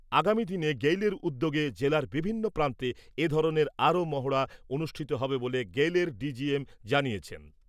আগামীদিনে গেইলের উদ্যোগে জেলার বিভিন্ন প্রান্তে এ ধরনের আরও মহড়া অনুষ্ঠিত হবে বলে গেইলের ডি জি এম জানিয়েছেন ।